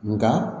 Nga